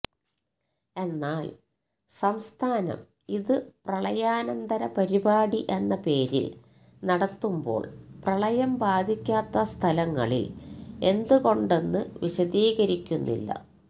എന്നാല് സംസ്ഥാനം ഇത് പ്രളയാനന്തര പരിപാടി എന്ന പേരില് നടത്തുമ്പോള് പ്രളയം ബാധിക്കാത്ത സ്ഥലങ്ങളില് എന്തുകൊണ്ടെന്ന് വിശദീകരിക്കുന്നില്ല